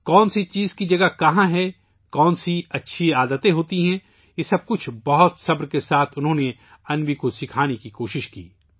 کون سی چیز کی جگہ کہاں ہے ، کون سی اچھی عادتیں ہوتی ہیں ، یہ سب کچھ بہت تحمل کے ساتھ انہوں نے اپنی انوی کو سکھانے کی کوشش کی